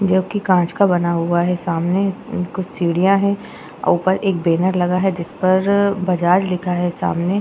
जो कि कांच का बना हुआ है। सामने कुछ सीढ़ियाँ हैं और ऊपर एक बैनर लगा है। जिस पर बजाज लिखा है सामने।